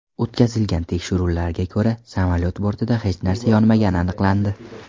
O‘tkazilgan tekshiruvlarga ko‘ra, samolyot bortida hech narsa yonmagani aniqlandi.